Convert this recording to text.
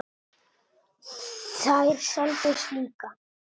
Þær seldust líka.